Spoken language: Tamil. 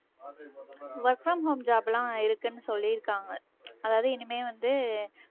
work from home job எல்லாம் இருக்குன்னு சொல்லியிருக்காங்க அதாவது இனிமே வந்து